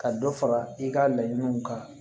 Ka dɔ fara i ka laɲiniw kan